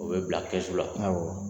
U bɛ bila kɛsu la awɔ.